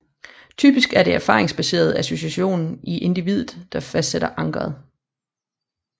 Typisk er det en erfaringsbaseret association i individet der fastsætter ankeret